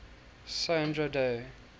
sandra day